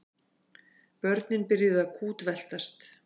Börnin byrjuðu að kútveltast.